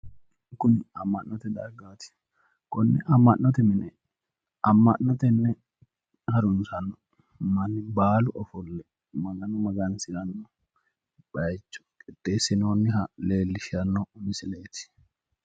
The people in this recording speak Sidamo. kuni amma'note dargaati konne amma'note mine amma'no tenne harunsannohu baalu ofolle magano magansiranno bayiicho qixxeessinoonniha leellishshanno misileeti.